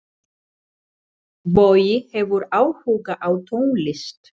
Bogi hefur áhuga á tónlist.